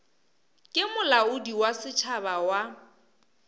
ke molaodi wa setšhaba wa